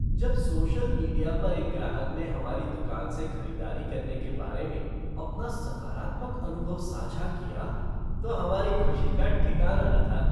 जब social media पर एक ग्राहक ने हमारी दुकान से खरीदारी करने के बारे में अपना सकारात्मक अनुभव साझा किया तो हमारी खुशी का ठिकाना न था।